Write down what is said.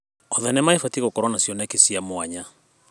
O thenema ĩbatiĩ gũkorwo na cioneki cia mwanya.